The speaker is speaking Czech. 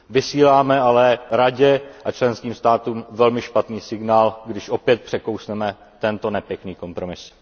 Vysíláme ale Radě a členským státům velmi špatný signál, když opět překousneme tento nepěkný kompromis.